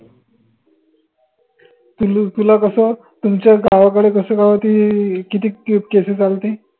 तुल तुला कस तुमच्या गावाकडं कस काय होती कितीक case झालती